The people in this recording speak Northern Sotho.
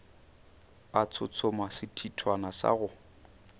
a tshotshoma sethithwana sa go